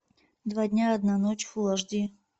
два дня одна ночь фул аш ди